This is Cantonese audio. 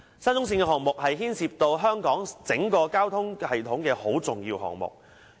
沙中線項目是牽涉香港整個交通系統的重要項目。